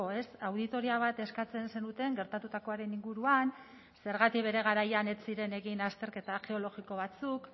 ez auditoria bat eskatzen zenuten gertatutakoaren inguruan zergatik bere garaian ez ziren egin azterketa geologiko batzuk